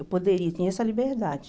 Eu poderia, eu tinha essa liberdade.